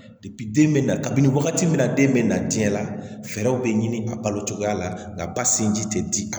den bɛ na kabini wagati min na den bɛ na diɲɛ la fɛɛrɛw bɛ ɲini a balo cogoya la nka ba sinji tɛ di a ma